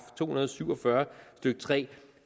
to hundrede og syv og fyrre stykke tredje